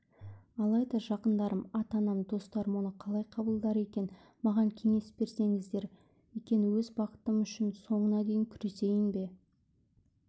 алайда жақындарым ата-анам достарым оны қалай қабылдар екен маған кеңес берсеңіздер екен өз бақытым үшін соңына дейін күресейін бе